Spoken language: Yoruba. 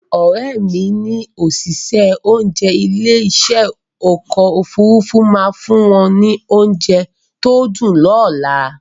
Òrẹ́mi ní àwọn òṣìṣẹ́ oúnjẹ ilé ìṣe ọkọ̀ Òfurufú máa fún wọn ní oúnjẹ tó dùn lọ́la